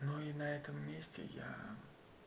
ну и на этом месте я